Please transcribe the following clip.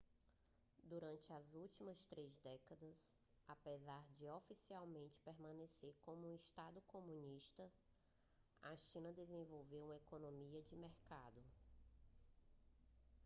durante as últimas três décadas apesar de oficialmente permanecer como um estado comunista a china desenvolveu uma economia de mercado